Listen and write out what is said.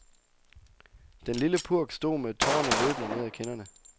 Den lille purk stod med tårerne løbende ned af kinderne.